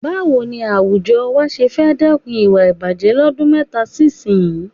Báwo ni àwùjọ wa ṣé fẹ́ dẹ́kun ìwà ìbàjẹ̀ lọ́dún mẹ́ta sí ìsinyìí?